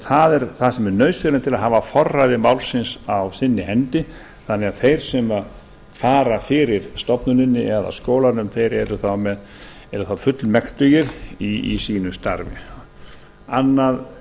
það er það sem er nauðsynlegt til þess að hafa forræði málsins á sinni hendi þannig að þeir sem að fara fyrir stofnuninni eða skólanum þeir eru þá fullmektugir í sínu starfi annað